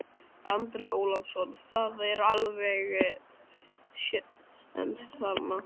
Andri Ólafsson: Það er alveg séns þarna?